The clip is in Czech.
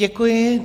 Děkuji.